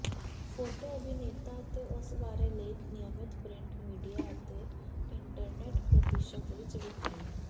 photo ਅਭਿਨੇਤਾ ਅਤੇ ਉਸ ਬਾਰੇ ਲੇਖ ਨਿਯਮਿਤ ਪ੍ਰਿੰਟ ਮੀਡੀਆ ਅਤੇ ਇੰਟਰਨੈੱਟ ਪ੍ਰਤੀਸ਼ਤ ਵਿੱਚ ਵਿਖਾਈ